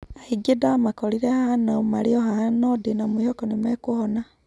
Aingĩ ndamakorire haha na marĩ o haha nũ ndina mwihoko nimekũhona